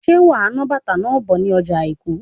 Ṣe wà ná bàtá náà bò ní ọjọ àìkú?